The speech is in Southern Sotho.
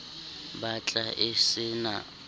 bat la e se na